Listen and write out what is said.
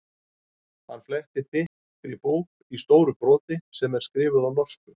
Hann flettir þykkri bók í stóru broti sem er skrifuð á norsku.